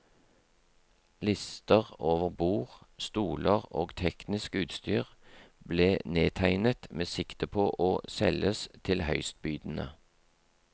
Lister over bord, stoler og teknisk utstyr ble nedtegnet med sikte på å selges til høystbydende.